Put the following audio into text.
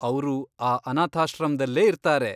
ಅವ್ರು ಆ ಅನಾಥಾಶ್ರಮ್ದಲ್ಲೇ ಇರ್ತಾರೆ.